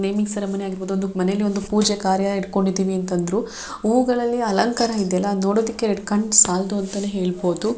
Naming ceremony ಆಗಿರ್ಬಹುದು ಒಂದುಕ್ ಮನೇಲಿ ಒಂದು ಪೂಜೆ ಕಾರ್ಯ ಇಟ್ಕೊಂಡಿದ್ದೀವಿ ಅಂತಂದ್ರು ಊಗಳಲಿ ಅಲಂಕಾರ ಇದ್ಯಲ್ಲ ನೋಡೋದಿಕ್ಕೆ ಎರಡ್ಕಣ್ ಸಾಲ್ದು ಅಂತ್ ಹೇಳ್ಬಹುದು .